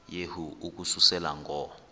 yehu ukususela ngo